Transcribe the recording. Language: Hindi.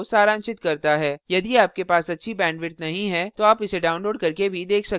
यदि आपके पास अच्छी bandwidth नहीं है तो आप इसे download करके भी देख सकते हैं